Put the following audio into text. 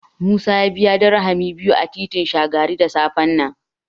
Musa ya biya Dirhami dubu biyu a titin Shagari da safen nan.